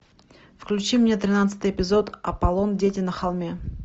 включи мне тринадцатый эпизод аполлон дети на холме